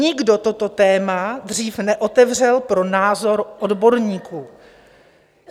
Nikdo toto téma dřív neotevřel pro názor odborníků.